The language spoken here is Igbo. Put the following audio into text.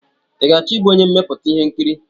I ga-achọ ịbụ onye mmepụta ihe nkiri?